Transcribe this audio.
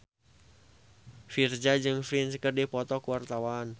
Virzha jeung Prince keur dipoto ku wartawan